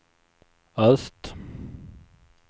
öst